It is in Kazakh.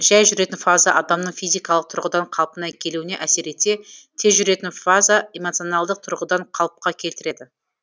жәй жүретін фаза адамның физикалық тұрғыдан қалпына келуіне әсер етсе тез жүретін фаза эмоционалдық тұрғыдан қалыпқа келтіреді